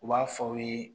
U b'a fɔ aw ye